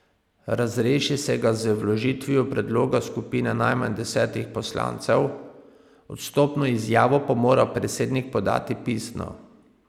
Razreši se ga z vložitvijo predloga skupine najmanj desetih poslancev, odstopno izjavo pa mora predsednik podati pisno.